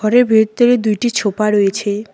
এর ভেতরে দুইটি ছোপা রয়েছে।